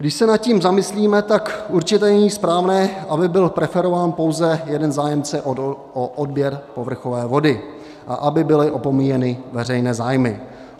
Když se nad tím zamyslíme, tak určitě není správné, aby byl preferován pouze jeden zájemce o odběr povrchové vody a aby byly opomíjeny veřejné zájmy.